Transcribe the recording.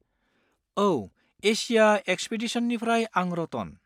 औ, एसिया एक्सपिदिसननिफ्राय आं रतन।